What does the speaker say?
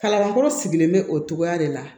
Kalankɔrɔ sigilen bɛ o cogoya de la